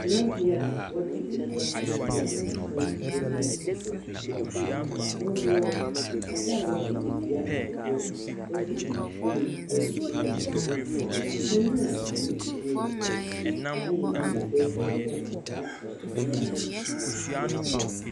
Tenabea a wɔdze egua na ɛpon wɔdze esi hɔ. Wɔwɔ adze a wɔdze dua abobɔ. Wɔdze nhwiren wɔdze si do. Kanyina nni dan mu hɔ. Wɔayɛ biibi fɛfɛɛfɛ wɔdze atar ban no ho.